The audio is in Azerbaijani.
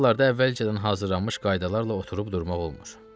Belə hallarda əvvəlcədən hazırlanmış qaydalarla oturub durmaq olmur.